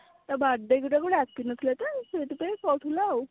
ତା birthday କୁ ତାକୁ ଡାକି ନଥିଲା ତ ସେଥିପାଇଁ କହୁଥିଲା ଆଉ